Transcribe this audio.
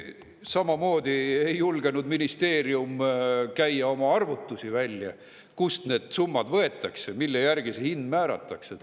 Samamoodi ei julgenud ministeerium käia välja oma arvutusi, kust need summad võetakse, mille järgi see hind määratakse.